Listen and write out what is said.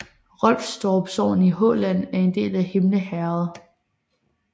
Rolfstorp sogn i Halland var en del af Himle herred